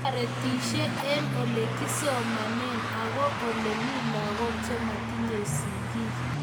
Toretishet eng olegisomane ago olemi lagook chematinyei sigiik